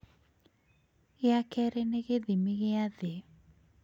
gĩa kerĩ nĩ gĩthimi gĩa thĩ